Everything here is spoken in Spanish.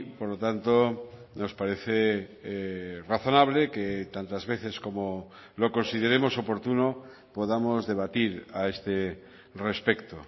por lo tanto nos parece razonable que tantas veces como lo consideremos oportuno podamos debatir a este respecto